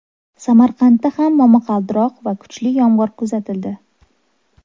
Samarqandda ham momaqaldiroq va kuchli yomg‘ir kuzatildi.